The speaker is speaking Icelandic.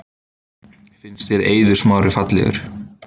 Finnst þér Eiður Smári fallegur?